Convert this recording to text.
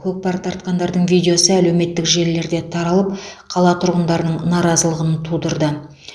көкпар тартқандардың видеосы әлеуметтік желілерде таралып қала тұрғындарының наразылығын тудырды